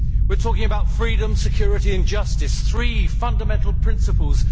We are talking about freedom, security and justice three fundamental principles.